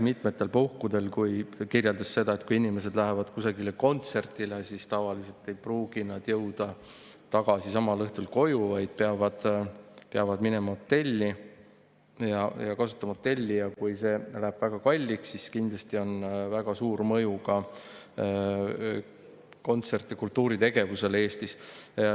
Ta kirjeldas seda, et kui inimesed lähevad kusagile kontserdile, siis tavaliselt ei pruugi nad jõuda samal õhtul tagasi koju, vaid peavad minema hotelli, ja kui see läheb väga kalliks, siis kindlasti on sel väga suur mõju ka kontserdi‑ ja kultuuritegevusele Eestis.